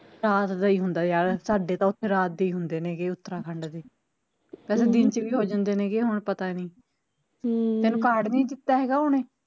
ਰਾਤ ਦਾ ਈ ਹੁੰਦਾ ਵਿਆਹ ਸਾਡੇ ਤਾ ਓਥੇ ਰਾਤ ਦੇ ਹੀ ਹੁੰਦੇ ਨੇ ਗੇ ਉਤਰਾਖੰਡ ਚ, ਪਹਿਲਾਂ ਦਿਨ ਚ ਵੀ ਹੋ ਜਾਂਦੇ ਨੇ ਗੇ ਹੁਣ ਪਤਾ ਨੀ ਤੈਨੂੰ ਕਾਰਡ ਨੀ ਦਿੱਤਾ ਹੈਗਾ ਓਹਨੇ